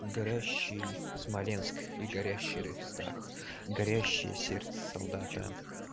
горящий смоленск и горящий рейхстаг горящее сердце солдата